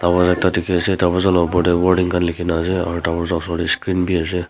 tatey phale ase dworja la opor dae warning khan lekhena ase aro osor dae screen bhi ase.